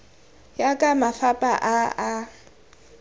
ya ka mafapha a a